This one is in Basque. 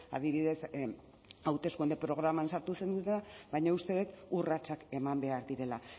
adibidez hauteskunde programan sartu baina uste dut urratsak eman behar direla